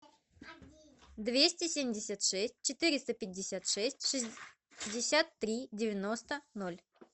двести семьдесят шесть четыреста пятьдесят шесть шестьдесят три девяносто ноль